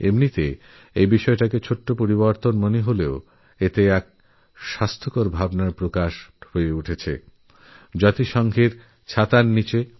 এমনিতে তো এটা খুব ছোট একটা পরিবর্তন মনে হয় কিন্তু এর মধ্যে একটা স্বাস্থ্যকরচিন্তার দর্শন পাই আমরা